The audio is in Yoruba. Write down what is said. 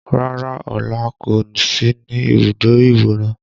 Rárá Ọlá kò sí ní ibùdó ìwòran